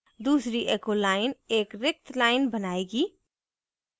दूसरी echo line एक रिक्त line बनायेगी